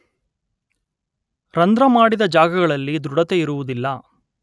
ರಂಧ್ರ ಮಾಡಿದ ಜಾಗಗಳಲ್ಲಿ ದೃಢತೆ ಇರುವುದಿಲ್ಲ.